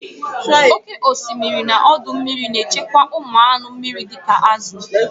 Oke osimiri na ọdọ mmiri na-echekwa ụmụ anụ mmiri dị ka azụ